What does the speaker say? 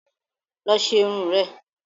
Lọ lọ ṣe irun rẹ